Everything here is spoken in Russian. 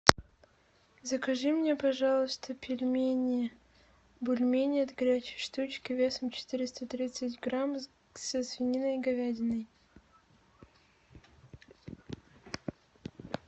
закажи мне пожалуйста пельмени бульмени от горячей штучки весом четыреста тридцать грамм со свининой и говядиной